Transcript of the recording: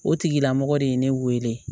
O tigilamɔgɔ de ye ne wele